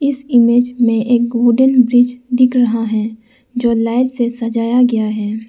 इस इमेज में एक वुडन ब्रिज दिख रहा है जो लाइट से सजाया गया है।